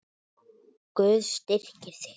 Guð styrki þig.